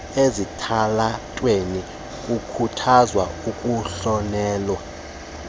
ezitalatweni kukhuthaza ukungahlonelwa